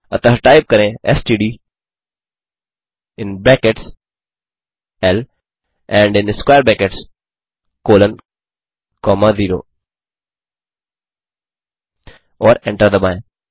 अतः टाइप करें STD in brackets L and in square brackets colon comma 0 और enter दबाएँ